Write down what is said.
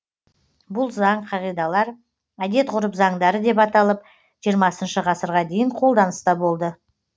бұл заң қағидалар әдет ғұрып заңдары деп аталып жиырмасыншы ғасырға дейін қолданыста болды